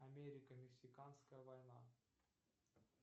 америка мексиканская война